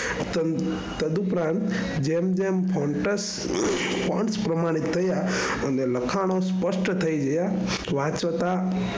તડ ઉપરાંત જેમ જેમ પ્રમાણિત થયા અને લખાણો સ્પષ્ટ થઇ ગયા હોવા છતાં,